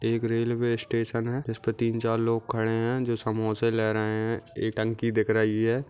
एक railway station है जिस पर तिन चार लोग खड़े है जो समोसे ले रहे है एक टंकी दिख रही है।